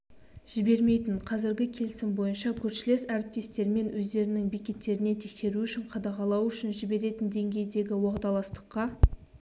жібермейтін қазіргі келісім бойынша көршілес әріптестермен өздерінің бекеттеріне тексеру үшін қадағалау үшін жіберетін деңгейдегі уағдаластыққа